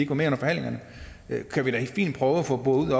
var med under forhandlingerne kan vi da fint prøve at få boret